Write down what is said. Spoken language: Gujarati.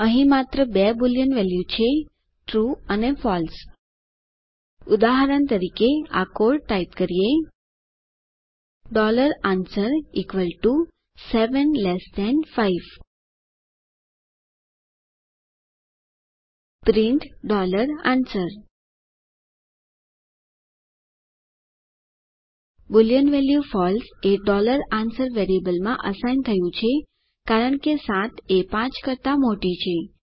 અહીં માત્ર બે બુલિયન વેલ્યુ છે ટ્રૂ અને ફળસે ઉદાહરણ તરીકે આ કોડ ટાઇપ કરીએ answer 75 print answer boolean value false એ answer વેરિયેબલમાં અસાઇન થયું છે કારણ કે 7 એ 5 કરતા મોટી છે